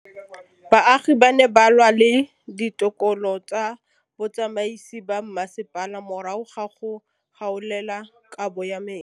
Baagi ba ne ba lwa le ditokolo tsa botsamaisi ba mmasepala morago ga go gaolelwa kabo metsi